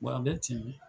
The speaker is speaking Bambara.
a bɛ timi